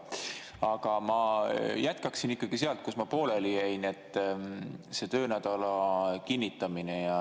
Aga ma jätkaksin ikkagi sealt, kus ma pooleli jäin, see töönädala kinnitamine.